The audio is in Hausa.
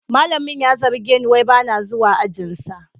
Malamin ya zarge ni wai ba na zuwa ajinsa